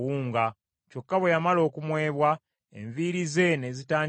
Kyokka bwe yamala okumwebwa, enviiri ze ne zitandika okumera.